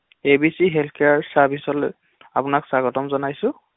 এ B C health care চাৰ্ভিচলৈ আপোনাক স্বাগতম জনাইছো